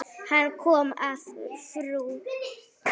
Hann kom að frú